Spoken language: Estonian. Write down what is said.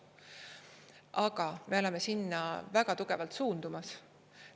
Aga me oleme sinna väga tugevalt suundumas.